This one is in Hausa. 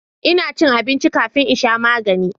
ina cin abinci kafin in sha magani